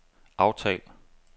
aftal